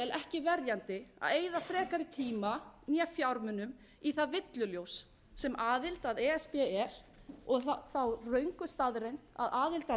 ekki verjandi að eyða frekari tíma né fjármunum í það villuljós sem aðild að e s b er og þá röngu staðreynd að aðild að